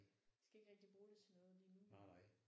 Skal ikke rigtig bruge det til noget lige nu